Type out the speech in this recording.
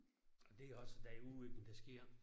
Og det også derude ik hvor det sker